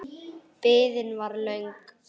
Biðin var löng.